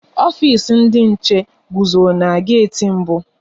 Ofisi ndị nche guzo n'geti mbụ